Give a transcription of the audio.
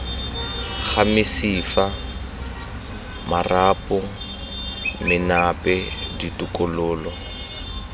ga mesifa marapo menape ditokololo